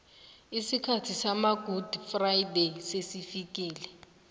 isikhathi sama gudi frayideyi sesifikile